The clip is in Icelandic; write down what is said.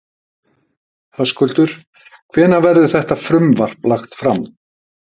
Höskuldur, hvenær verður þetta frumvarp lagt fram?